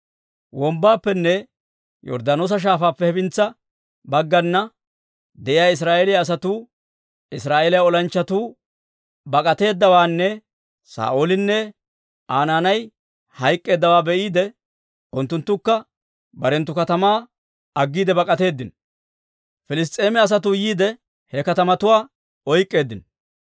Wombbaappenne Yorddaanoosa Shaafaappe hefintsa baggana de'iyaa Israa'eeliyaa asatuu Israa'eeliyaa olanchchatuu bak'ateeddawaanne Saa'oolinne Aa naanay hayk'k'eeddawaa be'iide, unttunttukka barenttu katamaa aggiide bak'atteedino. Piliss's'eema asatuu yiide, he katamatuwaa oyk'k'eeddino.